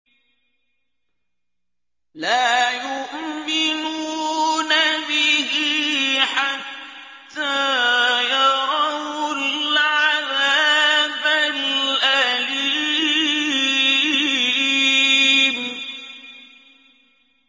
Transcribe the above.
لَا يُؤْمِنُونَ بِهِ حَتَّىٰ يَرَوُا الْعَذَابَ الْأَلِيمَ